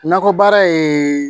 Nakɔ baara ye